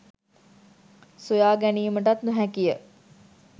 සොයා ගැනීමටත් නොහැකිය.